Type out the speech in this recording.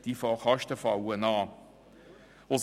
Diese Kosten fallen in jedem Fall an.